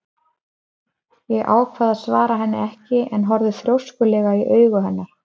Ég ákvað að svara henni ekki en horfði þrjóskulega í augu hennar.